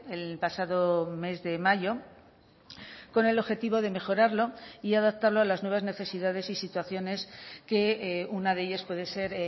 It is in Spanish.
el pasado mes de mayo con el objetivo de mejorarlo y adaptarlo a las nuevas necesidades y situaciones que una de ellas puede ser